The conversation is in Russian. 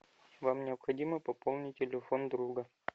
вам необходимо пополнить телефон друга